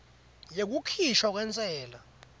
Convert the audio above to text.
yekukhishwa kwentsela